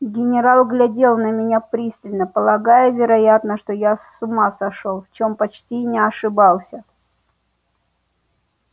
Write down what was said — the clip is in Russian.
генерал глядел на меня пристально полагая вероятно что я с ума сошёл в чем почти и не ошибался